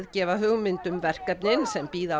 gefa hugmynd um verkefnin sem bíða á